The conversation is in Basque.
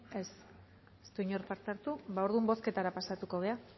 ez ez du inork parte hartu ba orduan bozketara pasako gara